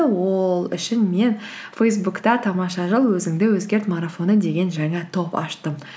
ол үшін мен фейсбукта тамаша жыл өзіңді өзгерт марафоны деген жаңа топ аштым